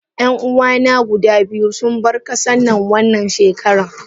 Yan uwana guda biyu sun bar kasannan wannan shekaran.